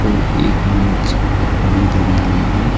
और एक मेज भी धरी हुई है।